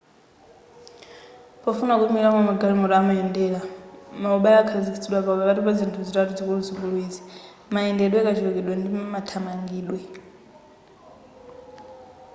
pofuna kuyimilira momwe magalimoto amayendera maubale akhazikitsidwa pakati pa zinthu zitatu zikuluzikulu izi: 1 mayendedwe 2 kachulukidwe ndi 3 mathamangidwe